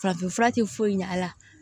Farafinfura tɛ foyi ɲɛ a la